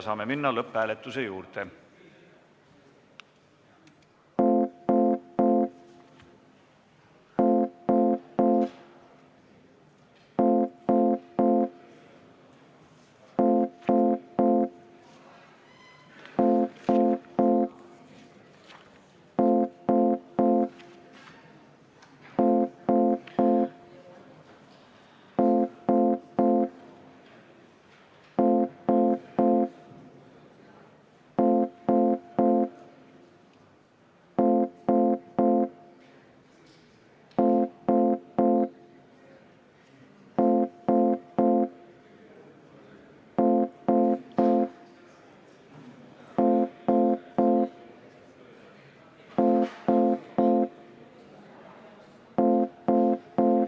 Saame minna lõpphääletuse juurde.